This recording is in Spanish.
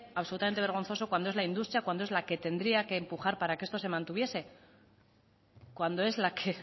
absolutamente vergonzoso cuando es la industria cuando es la que tendría que empujar para que esto se mantuviese cuando es la que